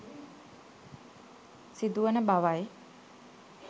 සිදු වන බවයි